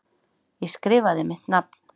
Ég skrifaði mitt nafn.